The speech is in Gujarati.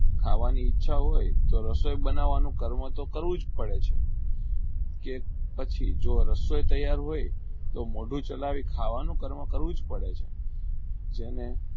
ખાવાની ઈચ્છા હોય તપ રસોઈ બનાવાનું ક્રમ તો કરવું જ પડે છે કે પછી જો રસોઈ તૈયાર હોય તો મોઢું ચલાવી ખાવાનું કર્મ કરવું જ પડે છે જેમાં